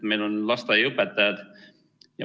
Meil on lasteaiaõpetajad.